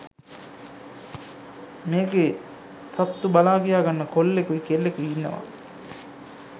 මේකේ සත්තු බලාකියා ගන්න කොල්ලෙකුයි කෙල්ලෙකුයි ඉන්නවා.